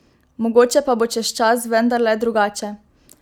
Mogoče pa bo čez čas vendarle drugače!